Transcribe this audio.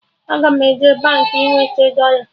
Aga m eje Baankị ị nweta dọla